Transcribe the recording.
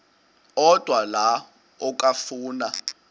odwa la okafuna